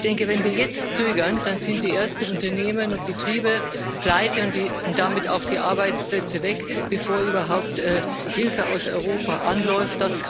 Ich denke, wenn wir jetzt zögern, dann sind die ersten Unternehmen und Betriebe pleite und damit auch die Arbeitsplätze weg, bevor überhaupt Hilfe aus Europa anläuft.